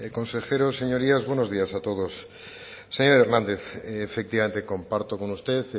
consejeros señorías buenos días a todos señor hernández efectivamente comparto con usted